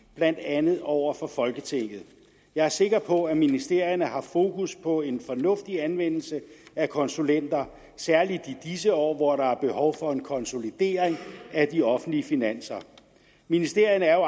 blandt andet over for folketinget jeg er sikker på at ministerierne har fokus på en fornuftig anvendelse af konsulenter særlig i disse år hvor der er behov for en konsolidering af de offentlige finanser ministerierne er jo